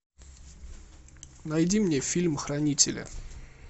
найди мне фильм хранители